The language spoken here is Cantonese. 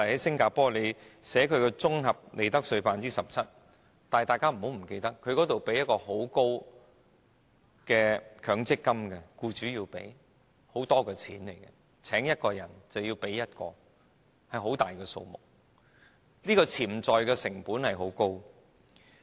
新加坡的綜合利得稅是 17%， 但不要忘記，當地僱主須繳付高昂的強積金供款，每聘請一個人便要多付一個人的供款，是很大的數目，潛在成本很高。